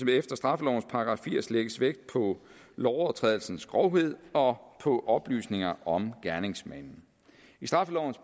efter straffelovens § firs lægges vægt på lovovertrædelsens grovhed og på oplysninger om gerningsmanden i straffelovens